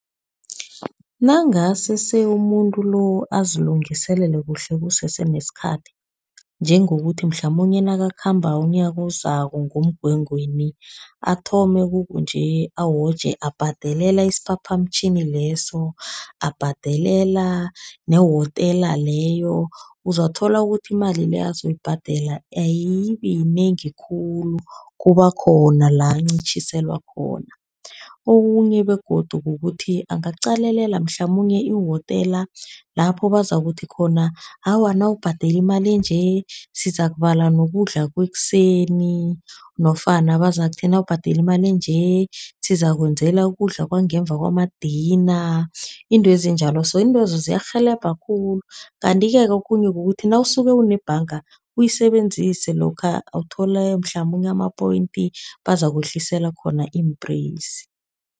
Nangase umuntu lo azilungiselele kuhle kusese nesikhathi, njengokuthi mhlamunye nakakhambako umnyaka ozako ngoMgwengweni, athome kukunje awoje abhadelela isiphaphamtjhini leso, abhadelela nehotela leyo. Uzakuthola ukuthi imali le azoyibhadela ayibi yinengi khulu, kuba khona la ancitjhiselwa khona. Okunye begodu kukuthi angaqalelela mhlamunye ihotela, lapho bazakuthi khona, awa nawubhadele imali enje sizakubala nokudla kwekuseni. Nofana bazakuthi nawubhadele imali enje, sizakwenzelwa ukudla kwangemva kwama-dinner, izinto ezinjalo so, iintwezo ziyarhelebha khulu. Kanti-ke okhunye kukuthi nawusuke unebhanga, uyisebenzise lokha uthole mhlamunye ama-point, bazakwehlisela khona iimpreyisi.